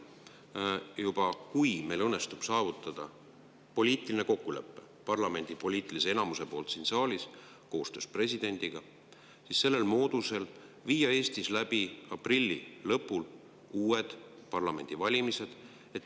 Kui parlamendi poliitilisel enamusel õnnestub saavutada poliitiline kokkulepe siin saalis, koostöös presidendiga, siis saab Eestis viia aprilli lõpul läbi uued parlamendivalimised.